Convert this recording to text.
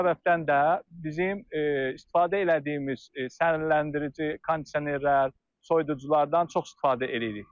Bu səbəbdən də bizim istifadə elədiyimiz sərinləndirici, kondisionerlər, soyuduculardan çox istifadə eləyirik.